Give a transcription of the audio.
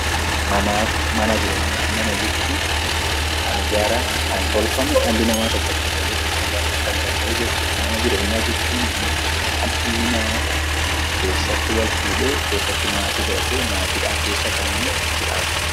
Mana jechuun kan ijaarame, kan tolfame dhalli namaa tokko itti galee keessa jiraachuu kan danda'u jechuudha. Mana jireenyaa jechuun ammoo kan dhalli namaa tokko keessatti walfuudhee, keessatti maatii godhatee maatiidhaan keessa kan jiraatudha.